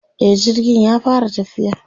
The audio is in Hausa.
e jirgin ya fara tafiya